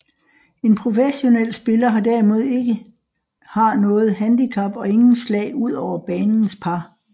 En professionel spiller har derimod ikke har noget handicap og ingen slag ud over banens par